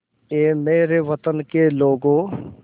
ऐ मेरे वतन के लोगों